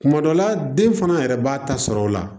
Kuma dɔ la den fana yɛrɛ b'a ta sɔrɔ o la